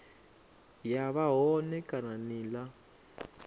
ya vha hone kana nila